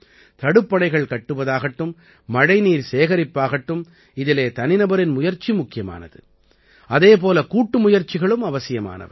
தடுப்பணைகள் கட்டுவதாகட்டும் மழைநீர் சேகரிப்பாகட்டும் இதிலே தனிநபரின் முயற்சி முக்கியமானது அதே போல கூட்டுமுயற்சிகளும் அவசியமானவை